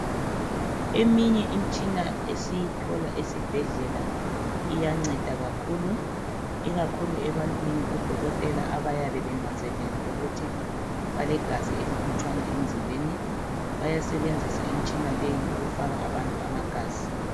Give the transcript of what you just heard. Eminye im'tshina esiyithola esibhedlela iyanceda kakhulu. Ikakhulu ebantwini odokotela abayabe benanzelele ukuthi balegazi elilutshwana emzimbeni. Bayasebenzisa im'tshina leyi ukufaka abantu amagazi.